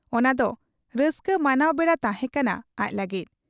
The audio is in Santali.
ᱚᱱᱟ ᱫᱚ ᱨᱟᱹᱥᱠᱟᱹ ᱢᱟᱱᱟᱣ ᱵᱮᱲᱟ ᱛᱟᱦᱮᱸ ᱠᱟᱱᱟ ᱟᱡ ᱞᱟᱹᱜᱤᱫ ᱾